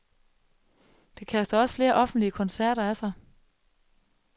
Det kaster også flere offentlige koncerter af sig.